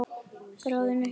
Þráðinn upp á snældu snýr.